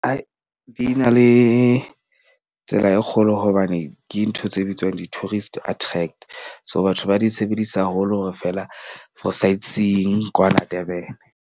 Di na le tsela e kgolo hobane ke ntho tse bitswang di-tourist attract. So, batho ba di sebedisa haholo hore feela for site seeing kwana Durban.